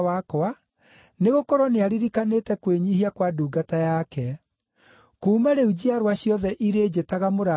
nĩgũkorwo nĩaririkanĩte kwĩnyiihia kwa ndungata yake. Kuuma rĩu njiarwa ciothe irĩĩnjĩtaga mũrathime,